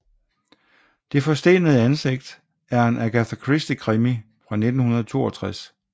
Det forstenede ansigt er en Agatha Christie krimi fra 1962